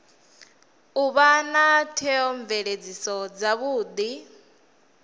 u vha na theomveledziso dzavhudi